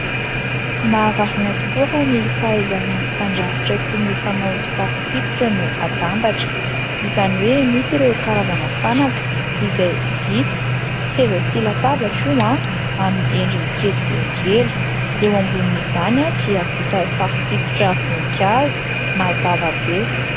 Mahavariana tokoa raha ny fahaizan'ny mpandrafitra sy ny mpanao sary sikotra no atambatra. Izany hoe misy ireo karazana fanaka izay vita, seza sy latabatra io, amin'ny endriny kely dia kely. Eo ambonin'izany dia vita sary sikotra voninkazo mazava be.